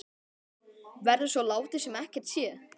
Verður svo látið sem ekkert sé?